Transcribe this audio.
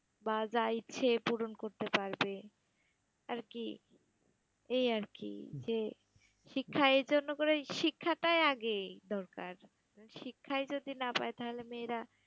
বা যা ইচ্ছে পূরণ করতে পারবে আর কি এই আর কি, যে শিক্ষা এই জন্য করে শিক্ষাটাই আগে দরকার, শিক্ষাই যদি না পায় তাহলে মেয়েরা